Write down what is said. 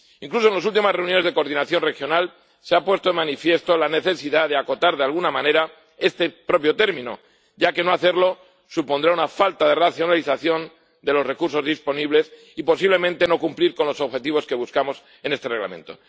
Incluso en las últimas reuniones de coordinación regional se ha puesto de manifiesto la necesidad de acotar de alguna manera este propio término, ya que no hacerlo supondrá una falta de racionalización de los recursos disponibles y, posiblemente, no cumplir con los objetivos que buscamos en este Reglamento.